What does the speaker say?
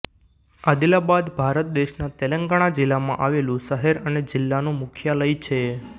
આદિલાબાદ ભારત દેશના તેલંગાણા જિલ્લામાં આવેલું શહેર અને જિલ્લાનું મુખ્યાલય છે